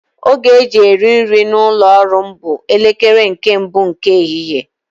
Oge e ji eri nri n'ụlọ ọrụ m bụ elekere nke mbụ nke ehihie